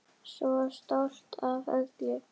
Svo stolt af öllum.